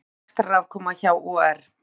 Betri rekstrarafkoma hjá OR